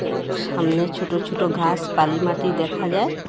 এ সামনে ছোট ছোট ঘাস বালিমাটি দেখা যায়।